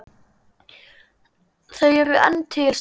Þau eru enn til staðar.